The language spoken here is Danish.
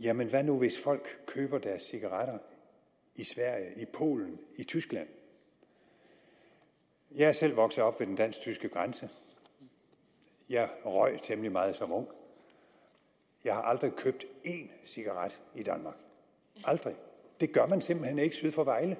jamen hvad nu hvis folk køber deres cigaretter i sverige i polen i tyskland jeg er selv vokset op ved den dansk tyske grænse og jeg temmelig meget som ung jeg har aldrig købt en cigaret i danmark aldrig det gør man simpelt hen ikke syd for vejle